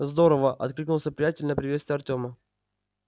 здорово откликнулся приятель на приветствие артёма